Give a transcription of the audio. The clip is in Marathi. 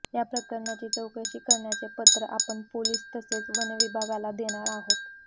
या प्रकरणाची चौकशी करण्याचे पत्र आपण पोलीस तसेच वनविभागाला देणार आहोत